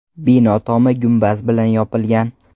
Bino tomi gumbaz bilan yopilgan.